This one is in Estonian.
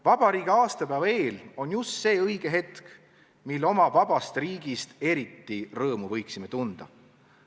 Vabariigi aastapäeva eel on just õige hetk, mil oma vabast riigist eriti rõõmu võiksime tunda.